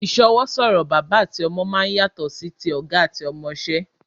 Ìsọwọ́ sọ̀rọ̀ bàbá àti ọmọ máa ń yàtọ̀ sí ti ọ̀gá àti ọmọṣẹ́